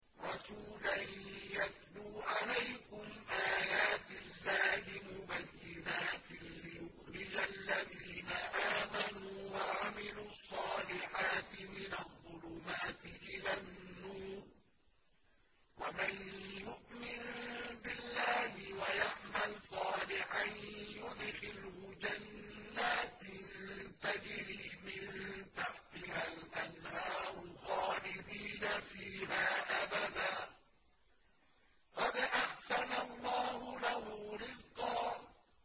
رَّسُولًا يَتْلُو عَلَيْكُمْ آيَاتِ اللَّهِ مُبَيِّنَاتٍ لِّيُخْرِجَ الَّذِينَ آمَنُوا وَعَمِلُوا الصَّالِحَاتِ مِنَ الظُّلُمَاتِ إِلَى النُّورِ ۚ وَمَن يُؤْمِن بِاللَّهِ وَيَعْمَلْ صَالِحًا يُدْخِلْهُ جَنَّاتٍ تَجْرِي مِن تَحْتِهَا الْأَنْهَارُ خَالِدِينَ فِيهَا أَبَدًا ۖ قَدْ أَحْسَنَ اللَّهُ لَهُ رِزْقًا